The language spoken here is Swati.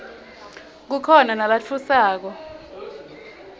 kukhona nalatfusako